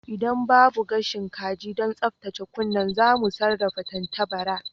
Idan babu gashin kaji don tsaftace kunne za mu sarrafa tantabara